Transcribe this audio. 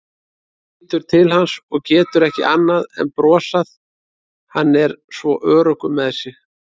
Lítur til hans og getur ekki annað en brosað, hann er svo öruggur með sig.